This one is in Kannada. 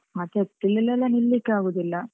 ಮತ್ತೆ April ಅಲೆಲ್ಲಾನಿಲಿಕ್ಕೇ ಆಗುದಿಲ್ಲ.